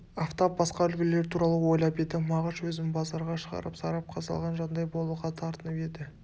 афтап басқа үлгілер туралы ойлап еді мағыш өзін базарға шығарып сарапқа салған жандай болуға тартынып еді